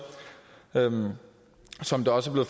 som det også